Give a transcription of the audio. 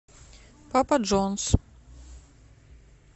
папа джонс